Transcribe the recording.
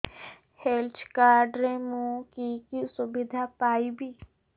health card ରେ ମୁଁ କି କି ସୁବିଧା ପାଇବି